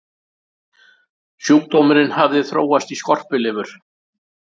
sjúkdómurinn hafði þróast í skorpulifur